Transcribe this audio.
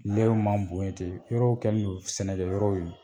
Lɛw man bon in ten yɔrɔw kɛ n'o sɛnɛ kɛ yɔrɔw ye.